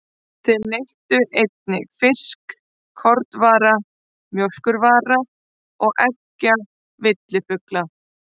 Þeir neyttu einnig fisks, kornvara, mjólkurvara og eggja villifugla.